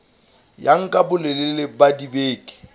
ya nka bolelele ba dibeke